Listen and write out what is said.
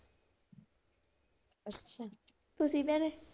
ਤੁਸੀਂ ਭੈਣੇ?